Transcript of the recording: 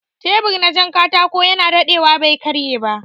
Tebur na jan katako yana daɗewa bai karye ba